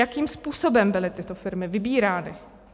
Jakým způsobem byly tyto firmy vybírány?